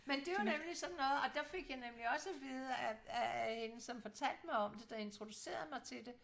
Men det jo nemlig sådan noget og der fik jeg nemlig også at vide at af en som fortalte mig om det der introducerede mig til det